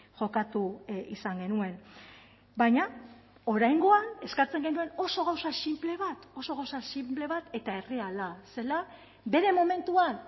jokatu izan genuen baina oraingoan eskatzen genuen oso gauza sinple bat oso gauza sinple bat eta erreala zela bere momentuan